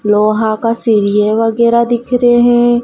लोहा का सीरिये वगैरा दिख रहे--